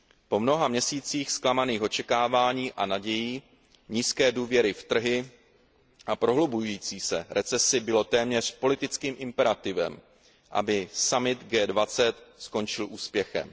Po mnoha měsících zklamaných očekávání a nadějí, nízké důvěry v trhy a prohlubující se recese bylo téměř politickým imperativem, aby summit G20 skončil úspěchem.